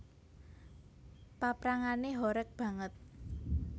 Paprangané horeg banget